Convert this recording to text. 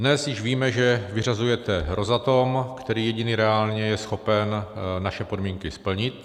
Dnes již víme, že vyřazujete Rosatom, který jediný reálně je schopen naše podmínky splnit.